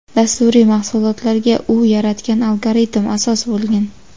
dasturiy mahsulotlarga u yaratgan algoritm asos bo‘lgan.